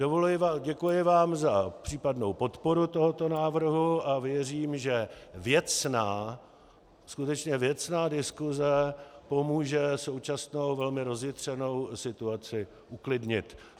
Děkuji vám za případnou podporu tohoto návrhu a věřím, že věcná, skutečně věcná diskuze pomůže současnou velmi rozjitřenou situaci uklidnit.